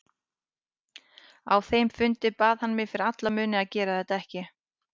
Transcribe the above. Á þeim fundi bað hann mig fyrir alla muni að gera þetta ekki.